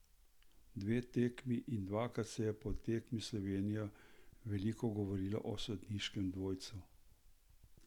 Dve tekmi in dvakrat se je po tekmi Slovenije veliko govorilo o sodniškem dvojcu.